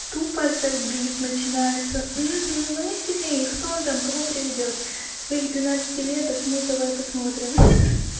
тупо забив начинается ну мы сильнее и кто он там кого приведёт своих двенадцатилеток ну давай посмотрим хи-хи